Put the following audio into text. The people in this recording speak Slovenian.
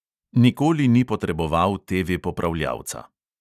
Nikoli ni potreboval TV-popravljavca.